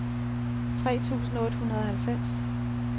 tre tusind otte hundrede og halvfems